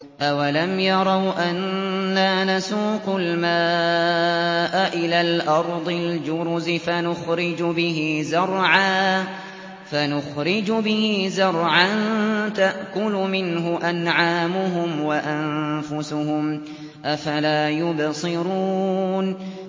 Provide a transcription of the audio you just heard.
أَوَلَمْ يَرَوْا أَنَّا نَسُوقُ الْمَاءَ إِلَى الْأَرْضِ الْجُرُزِ فَنُخْرِجُ بِهِ زَرْعًا تَأْكُلُ مِنْهُ أَنْعَامُهُمْ وَأَنفُسُهُمْ ۖ أَفَلَا يُبْصِرُونَ